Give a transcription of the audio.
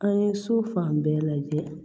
An ye so fan bɛɛ lajɛ